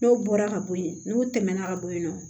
N'o bɔra ka bo yen n'u tɛmɛna ka bo yen nɔ